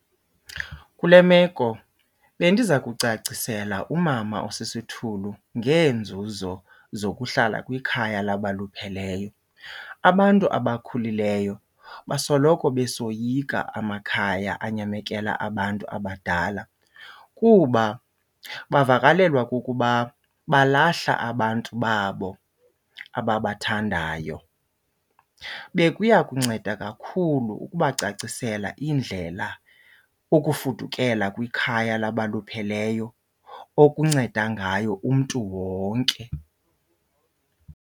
Kule meko bendiza kucacisela umama osisithulu ngeenzuzo zokuhlala kwikhaya labalupheleyo. Abantu abakhulileyo basoloko besoyika amakhaya anyamekela abantu abadala kuba bavakalelwa kukuba balahla abantu babo ababathandayo. Bekuya kunceda kakhulu ukubacacisela indlela ukufudukela kwikhaya labalupheleyo okunceda ngayo kumntu wonke.